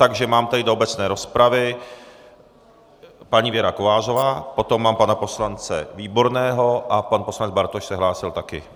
Takže mám tady do obecné rozpravy - paní Věra Kovářová, potom mám pana poslance Výborného a pan poslanec Bartoš se hlásil taky.